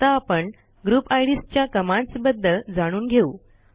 आता आपण group IDs च्या कमांडस् बद्दल जाणून घेऊ